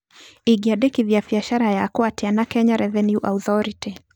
Ingĩandĩkithia biacara yakwa atĩa na Kenya Revenue Authority?